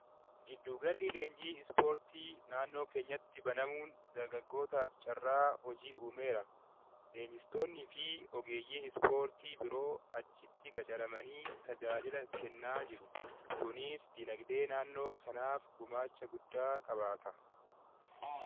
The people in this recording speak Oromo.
Giddu galli leenjii ispoortii naannoo keenyatti banamuun dargaggootaaf carraa hojii uumeera. Leenjistoonni fi ogeeyyiin ispoortii biroo achitti qacaramanii tajaajila kennaa jiru. Kunis diinagdee naannoo saniif gumaacha guddaa qabaata.